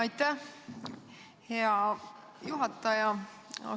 Aitäh, hea juhataja!